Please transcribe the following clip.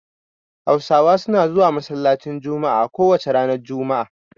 Hausawa suna zuwa masallacin jummuah a kowace ranar juma'a